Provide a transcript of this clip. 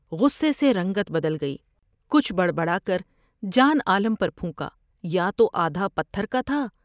غصے سے رنگت بدل گئی ، کچھ بڑ بڑا کر جان عالم پر پھونکایا تو آدھا پتھر کا تھا ۔